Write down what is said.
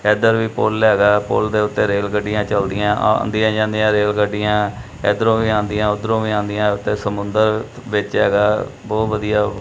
ਇੱਧਰ ਵੀ ਪੁੱਲ ਹੈਗਾ ਪੁੱਲ ਦੇ ਓੱਤੇ ਰੇਲ ਗੱਡੀਆਂ ਚਲਦੀਆਂ ਆਂਦੀ ਜਾਂਦੀਆਂ ਰੇਲਗੱਡੀਆਂ ਇੱਧਰੋਂ ਵੀ ਆਂਦੀਆਂ ਓਧਰੋਂ ਵੀ ਆਂਦੀਆਂ ਤੇ ਸਮੁੰਦਰ ਵਿੱਚ ਹੈਗਾ ਬਹੁਤ ਵਧੀਆ --